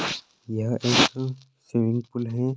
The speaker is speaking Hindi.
यह एक स्विमिंग पूल है।